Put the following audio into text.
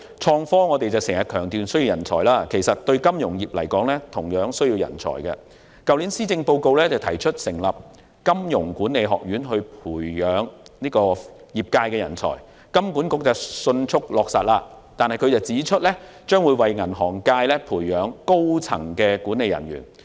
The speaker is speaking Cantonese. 財政司司長在 2018-2019 年度的財政預算案提出成立金融學院培訓業界人才，金管局迅速落實相關建議，並表示該學院將為銀行業界培養高層管理人員。